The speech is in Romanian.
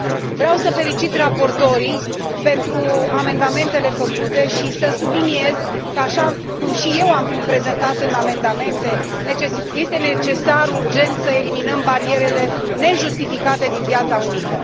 Vreau să felicit raportorii pentru amendamentele făcute și să subliniez că, așa cum și eu am prezentat în amendamente, este necesar, urgent, să eliminăm barierele nejustificate din piața unică.